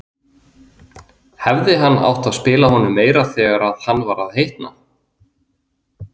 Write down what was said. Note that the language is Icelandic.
Hefði hann átt að spila honum meira þegar hann var að hitna?